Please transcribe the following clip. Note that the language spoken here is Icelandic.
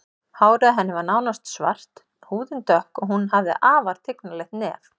Hárið á henni var nánast svart, húðin dökk og hún hafði afar tignarlegt nef.